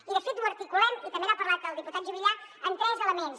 i de fet ho articulem i també n’ha parlat el diputat juvillà en tres elements